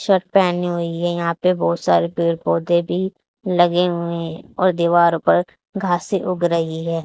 Shirt पहनी हुई है यहां पे बहोत सारे पेड़ पौधे भी लगे हुए है और दीवारों पर घासें उग रही है।